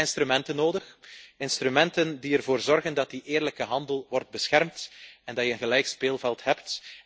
En dan heb je instrumenten nodig die ervoor zorgen dat die eerlijke handel wordt beschermd en dat je een gelijk speelveld hebt.